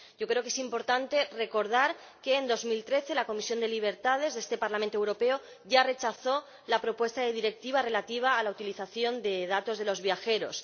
Yo creo que es importante recordar que, en 2013, la Comisión de Libertades de este Parlamento Europeo ya rechazó la propuesta de Directiva relativa a la utilización de datos de los viajeros.